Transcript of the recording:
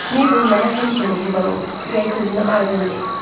Mabel mənə həmişə mehriban olub, ürək sözünü aydın deyib.